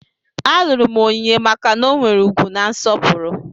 Alụrụ m Onyinye maka na ọ nwere ugwu na nsọpụrụ.